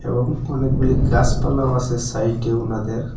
এবং অনেকগুলি গাছপালাও আসে সাইডে উনাদের।